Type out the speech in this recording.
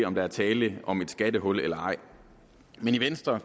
om der er tale om et skattehul eller ej men i venstre